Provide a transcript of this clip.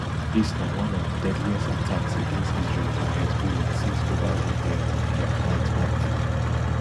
dis na one of di deadliest attacks against israel by hezbollah since ova one year of dia fightfight